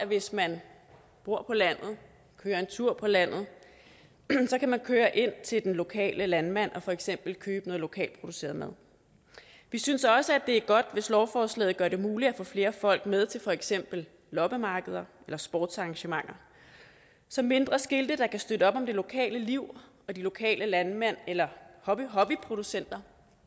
hvis man bor på landet eller kører en tur på landet så kan køre ind til den lokale landmand og for eksempel købe noget lokalt produceret mad vi synes også at det er godt hvis lovforslaget gør det muligt at få flere folk med til for eksempel loppemarkeder eller sportsarrangementer så mindre skilte der kan støtte op om det lokale liv og de lokale landmænd eller hobbyproducenter